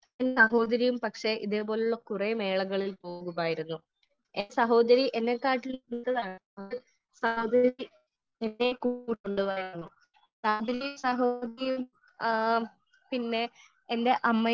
Speaker 1 എന്റെ സഹോദരിയും പക്ഷേ ഇത് പോലുള്ള കുറെ മേളകളിൽ പോകുമായിരുന്നു . എന്റെ സഹോദരി എന്നെക്കാട്ടിലും പിന്നെ എന്റെ അമ്മയും